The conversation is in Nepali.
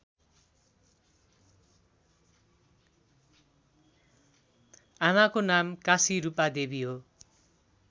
आमाको नाम काशीरूपादेवी हो